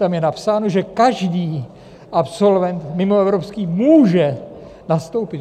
Tam je napsáno, že každý absolvent mimoevropský může nastoupit.